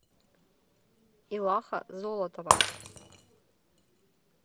иваха золотова